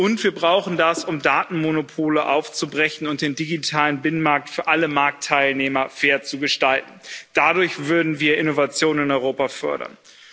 Und wir brauchen das, um Datenmonopole aufzubrechen und den digitalen Binnenmarkt für alle Marktteilnehmer fair zu gestalten. Dadurch würden wir Innovation in Europa fördern.